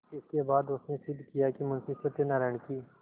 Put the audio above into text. इसके बाद उसने सिद्ध किया कि मुंशी सत्यनारायण की